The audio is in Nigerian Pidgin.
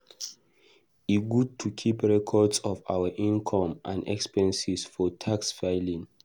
E good to keep records of our income and expenses for tax filing.